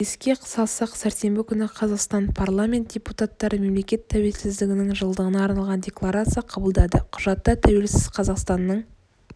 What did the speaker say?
еске салсақ сәрсенбі күні қазақстан парламент депутаттары мемлекет тәукелсіздігінің жылдығына арналған декларация қабылдады құжатта тәуелсіз қазақстанның